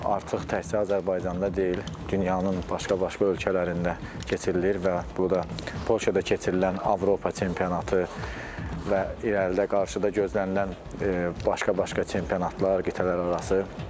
Artıq təkcə Azərbaycanda deyil, dünyanın başqa-başqa ölkələrində keçirilir və bu da Polşada keçirilən Avropa çempionatı və irəlidə qarşıda gözlənilən başqa-başqa çempionatlar, qitələrarası.